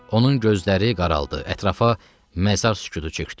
Onun gözləri qaraldı, ətrafa məzar sükutu çökdü.